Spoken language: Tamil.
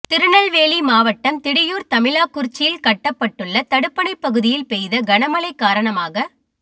திருநெல்வேலி மாவட்டம் திடியூா் தமிழாக்குறிச்சியில் கட்டப்பட்டுள்ள தடுப்பணை பகுதியில் பெய்த கனமழை காரணமாக